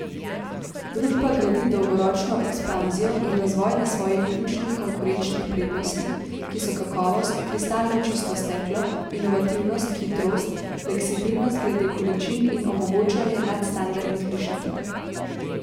Družba gradi dolgoročno ekspanzijo in razvoj na svojih ključnih konkurenčnih prednostih, ki so kakovost, kristalno čisto steklo, inovativnost, hitrost, fleksibilnost glede količin in omogočanje nadstandardnih rešitev.